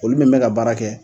Olu bɛ mɛn ka baara kɛ.